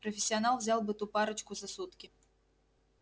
профессионал взял бы ту парочку за сутки